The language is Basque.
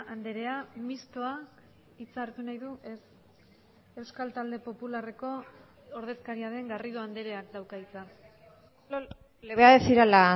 andrea mistoa hitza hartu nahi du ez euskal talde popularreko ordezkaria den garrido andreak dauka hitza le voy a decir a la